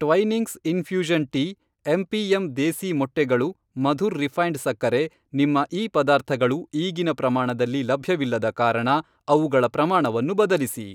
Twinings infusion tea MPM. ದೇಸೀ ಮೊಟ್ಟೆಗಳು Madhur refined ಸಕ್ಕರೆ ನಿಮ್ಮ ಈ ಪದಾರ್ಥಗಳು ಈಗಿನ ಪ್ರಮಾಣದಲ್ಲಿ ಲಭ್ಯವಿಲ್ಲದ ಕಾರಣ ಅವುಗಳ ಪ್ರಮಾಣವನ್ನು ಬದಲಿಸಿ.